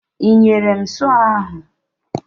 Ị nyere m sọọ ahụ?